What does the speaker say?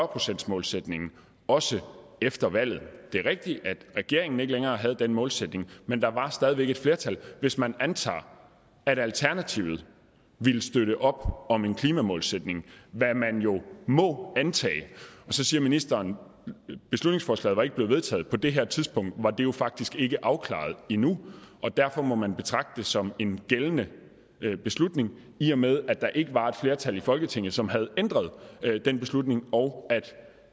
procentsmålsætningen også efter valget det er rigtigt at regeringen ikke længere havde den målsætning men der var stadig væk et flertal hvis man antager at alternativet ville støtte op om en klimamålsætning hvad man jo må antage så siger ministeren at beslutningsforslaget ikke var blevet vedtaget på det her tidspunkt var det jo faktisk ikke afklaret endnu og derfor må man betragte det som en gældende beslutning i og med at der ikke var et flertal i folketinget som havde ændret den beslutning og